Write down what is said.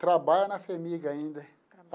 Trabalha na FHEMIG ainda.